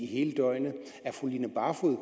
hele døgnet er fru line barfod